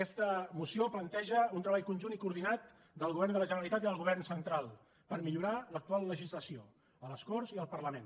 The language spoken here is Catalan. aquesta moció planteja un treball conjunt i coordinat del govern de la generalitat i del govern central per millorar l’actual legislació a les corts i al parlament